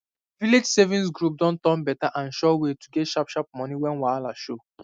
village savings group don turn better and sure way to get sharp sharp money when wahala show